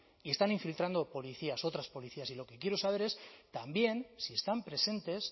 y están infiltrando policías otras policías y lo que quiero saber es también si están presentes